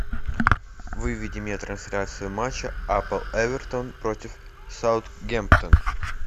выведи мне трансляцию матча апл эвертон против саутгемптон